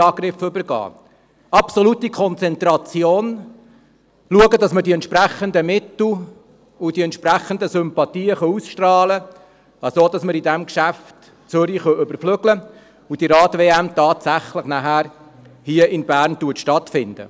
Was heisst dies? – Absolute Konzentration und schauen, dass wir die entsprechenden Mittel haben und die entsprechenden Sympathien ausstrahlen können, sodass wir in diesem Geschäft Zürich überflügeln können und diese Rad-WM tatsächlich hier in Bern stattfindet.